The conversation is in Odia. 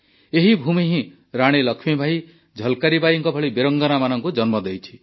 ଏହି ଭୂମି ହିଁ ରାଣୀ ଲକ୍ଷ୍ମୀବାଈ ଝଲ୍କାରୀ ବାଈଙ୍କ ଭଳି ବୀରାଙ୍ଗନାମାନଙ୍କୁ ଜନ୍ମ ଦେଇଛି